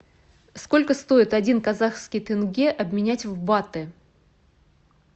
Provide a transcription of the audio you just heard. сколько стоит один казахский тенге обменять в баты